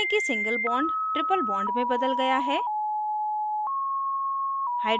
देखें कि single bond triple bond में बदल गया है